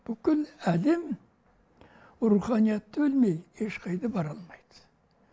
бүкіл әлем руханиятты білмей ешқайда бара алмайды